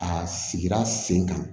A sigira sen kan